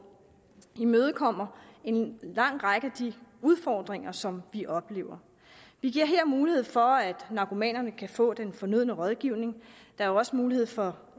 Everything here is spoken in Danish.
imødekommer en lang række af de udfordringer som vi oplever vi giver her mulighed for at narkomanerne kan få den fornødne rådgivning der er også mulighed for